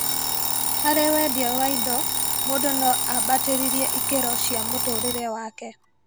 Harĩ wendia wa indo, mũndũ no ambatĩrĩr ikĩro cia mũtũrĩre wake